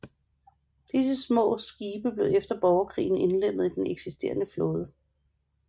Disse små skibe blev efter borgerkrigen indlemmet i den eksisterende flåde